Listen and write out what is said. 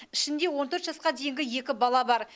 ішінде он төрт жасқа дейінгі екі бала бар